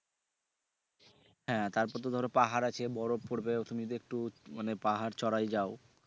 হ্যা তারপর তো ধরো পাহাড় আছে বরফ পরবে তুমি যদি একটু মানে পাহাড় চড়ায় যাও।